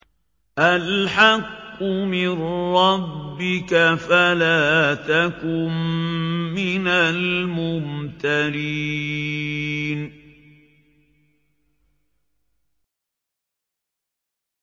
الْحَقُّ مِن رَّبِّكَ فَلَا تَكُن مِّنَ الْمُمْتَرِينَ